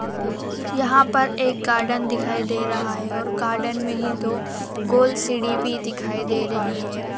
यहां पर एक गार्डन दिखाई दे रहा है और गार्डन में ही दो गोल सीढ़ी भी दिखाई दे रही है।